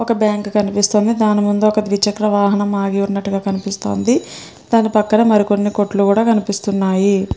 ఒక బ్యాంకు కనిపిస్తోంది. దాని ముందు ఒక దుర్కికర వాహనం ఆగి ఉన్నట్టుగా కనిపిస్తోంది. దాని పక్కన మరి కొన్ని కోట్లు కూడా కనిపిస్తున్నాయి.